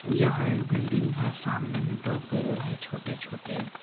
यह एक बिल्डिंग है सामने ही दो पेड़ हैं छोटे-छोटे।